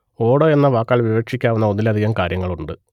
ഓട് എന്ന വാക്കാൽ വിവക്ഷിക്കാവുന്ന ഒന്നിലധികം കാര്യങ്ങളുണ്ട്